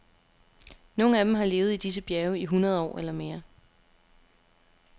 Nogle af dem har levet i disse bjerge i hundrede år eller mere.